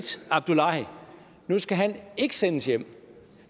abdullahi ikke sendes hjem